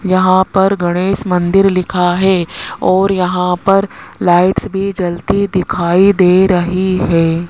यहां पर गणेश मंदिर लिखा है और यहां पर लाइट्स भी जलती दिखाई दे रही है।